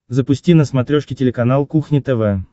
запусти на смотрешке телеканал кухня тв